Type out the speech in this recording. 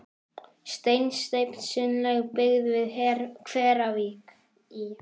Steinsteypt sundlaug byggð við Hveravík í